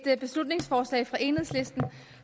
er et beslutningsforslag fra enhedslisten